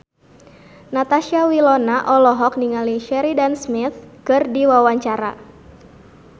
Natasha Wilona olohok ningali Sheridan Smith keur diwawancara